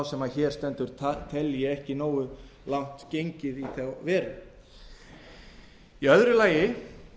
sem hér stendur telji ekki nógu langt gengið í þá veru í öðru lagi